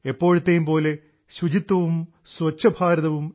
എപ്പോഴത്തേയുംപോലെ ശുചിത്വവും സ്വച്ഛഭാരതവും